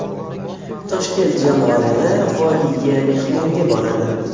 Toshkent jamoalari Vodiyga mehmonga boradi.